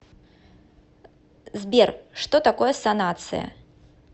сбер что такое санация